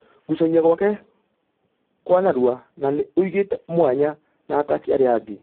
Gũcogia gwakekwanarua na ....nĩ ũmũigĩte mwanya na ataki arĩa angĩ.